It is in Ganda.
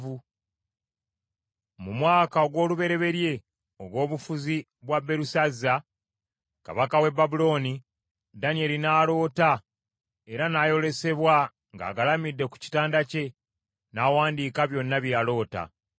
Mu mwaka ogw’olubereberye ogw’obufuzi bwa Berusazza kabaka w’e Babulooni, Danyeri n’aloota era n’ayolesebwa ng’agalamidde ku kitanda kye. N’awandiika byonna bye yaloota.